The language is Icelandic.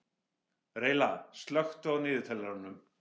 Reyla, slökktu á niðurteljaranum.